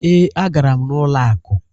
Ee, a gara m n'ụlọ akụ.